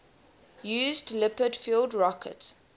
used liquid fueled rocket